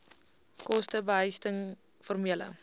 koste behuising formele